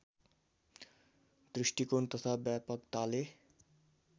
दृष्टिकोण तथा व्यापकताले